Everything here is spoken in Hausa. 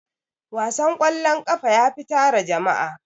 wasan kwallon ƙafa yafi tara jama'a.